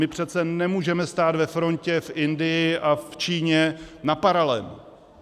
My přece nemůžeme stát ve frontě v Indii a v Číně na paralen.